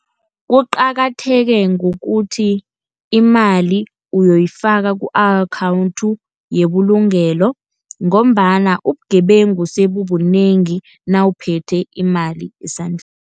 Kuqakatheke ngokuthi imali uyoyifaka ku-akhawunthi yebulugelo, ngombana ubugebengu sebubunengi nawuphethe imali esandleni.